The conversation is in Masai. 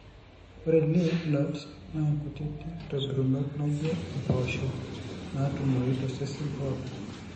ore lymph nodes na inkutiti kitobirunoto naijio mboosho natumoyu tosesen pooki,